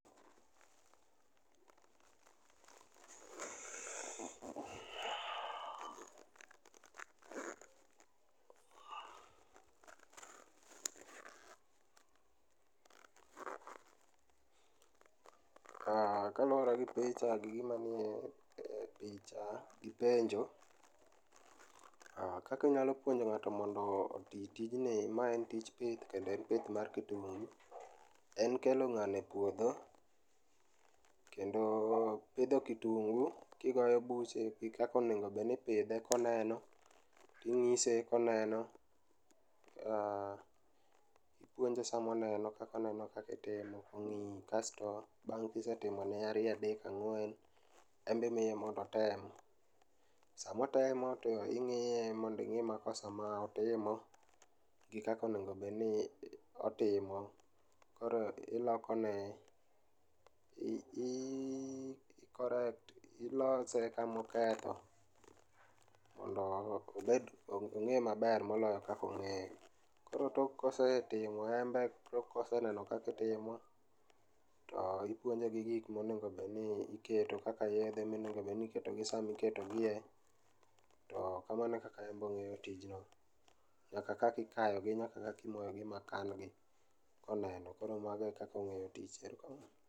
Ka, kaluore gi picha gi gima nie picha gi penjo, kaka inyalo puonjo ng'ato mondo otii tijni, ma en tij pith kendo en pith mar kitungu, en kelo ngano e puodho kendo pidho kitungu[c] kigoyo buche ekaka onego obedni ipidhe koneno, ingise koneno, aah, ipuonje sama oneno kaka oneno kaka itimo, ong'iyi kasto bang kisetimone ariyo, adek ang'wen en be imiye mondo otem. Sama otemo ing'iye mondo ing'e makosa ma otimo gi kaka onego obedni otimo. Koro iloko ne ,i correct, ilose kama oketho mondo obed, ong'e maber moloyo kaka ong'eyo. Koro tok kosetim, tok koseneno kaka itimo to ipuonje gi gik monego obedni iketo kaka yiedhe monego obed ni iketo gi sama iketo gie, to kamano e kaka obo ng'eyo tijno nyaka kaka ikayo gi nyaka kaka imoyogi ma kan gi ka oneno. Koro kamano ekaka ongeyo tijni, erokamano